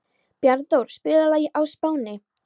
Bjarnþór, spilaðu lagið „Á Spáni“.